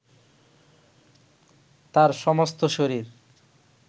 তার সমস্ত শরীর